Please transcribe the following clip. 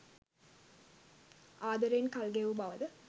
ආදරයෙන් කල් ගෙවූ බව ද